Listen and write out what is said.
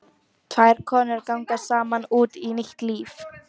Tvær konur ganga saman út í nýtt líf.